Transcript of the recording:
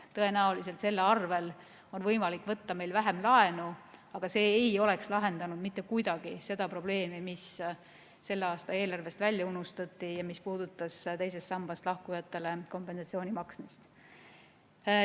Tõenäoliselt selle arvel on võimalik võtta meil vähem laenu, aga see ei oleks lahendanud mitte kuidagi seda probleemi, mis selle aasta eelarvest välja unustati ja mis puudutas teisest sambast lahkujatele kompensatsiooni maksmist.